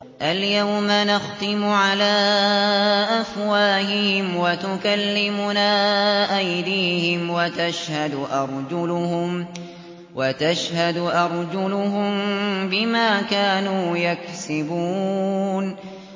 الْيَوْمَ نَخْتِمُ عَلَىٰ أَفْوَاهِهِمْ وَتُكَلِّمُنَا أَيْدِيهِمْ وَتَشْهَدُ أَرْجُلُهُم بِمَا كَانُوا يَكْسِبُونَ